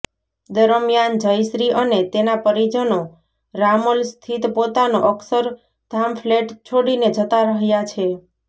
દરમિયાન જયશ્રી અને તેના પરિજનો રામોલ સ્થિત પોતાનો અક્ષરધામ ફ્લેટ છોડીને જતા રહ્યાં છે